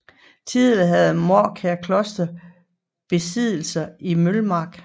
Tidligere havde Mårkær Kloster besiddelser i Mølmark